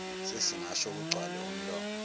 sesingasho kugcwale umlomo